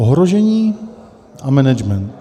Ohrožení a management.